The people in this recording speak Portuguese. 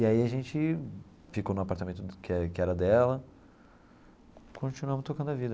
E aí a gente ficou no apartamento que é que era dela e continuamos tocando a vida.